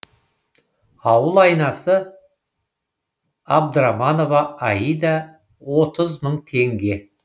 ауыл айнасы абдраманова аида отыз мың теңге